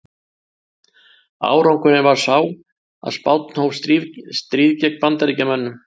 Árangurinn varð sá að Spánn hóf stríð gegn Bandaríkjunum.